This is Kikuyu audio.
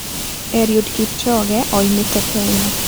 Eliud Kipchoge oimĩte Kenya.